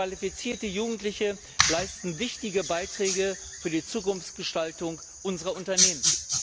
Qualifizierte Jugendliche leisten wichtige Beiträge für die Zukunftsgestaltung unserer Unternehmen.